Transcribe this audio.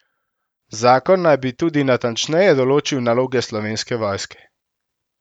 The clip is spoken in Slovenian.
Zakon naj bi tudi natančneje določil naloge Slovenske vojske.